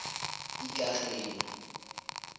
ikageng